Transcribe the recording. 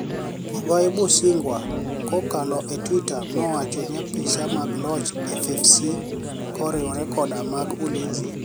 Ogai Bushunigwa kokalo e twitter nowacho niiya apiSaa mag loch (FFC) koriwore koda mag ulinizi